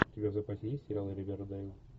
у тебя в запасе есть сериал ривердейл